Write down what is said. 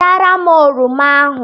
Wetara m oroma ahụ.